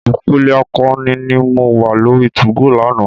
Ìpele akọni ni mo wá lórí 2go lánàá.